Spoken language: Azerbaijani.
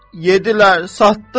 Yeddilər, satdılar.